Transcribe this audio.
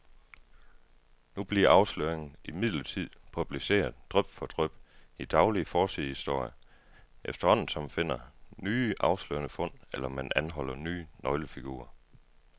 Nu bliver afsløringerne imidlertid publiceret dryp for dryp i daglige forsidehistorier, efterhånden som man finder nye afslørende fund, eller man anholder nye nøglefigurer.